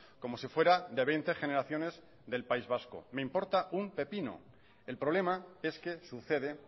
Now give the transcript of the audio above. como si fuera de veinte generaciones del país vasco me importa un pepino el problema es que sucede